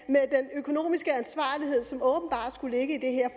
økonomiske ansvarlighed som åbenbart skulle ligge i det her